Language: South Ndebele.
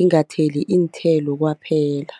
ingatheli iinthelo kwaphela.